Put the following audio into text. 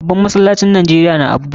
Babban masallacin Najeriya na Abuja.